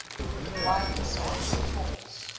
widely spaced forts